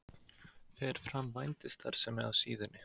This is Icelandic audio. Fer fram vændisstarfsemi á síðunni?